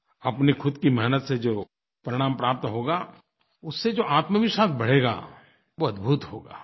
अपनी ख़ुद की मेहनत से जो परिणाम प्राप्त होगा उससे जो आत्मविश्वास बढ़ेगा वो अद्भुत होगा